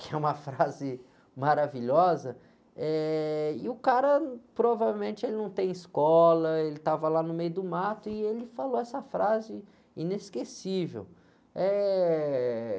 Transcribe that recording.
que é uma frase maravilhosa, eh, e o cara provavelmente ele não tem escola, ele estava lá no meio do mato e ele falou essa frase inesquecível. Eh..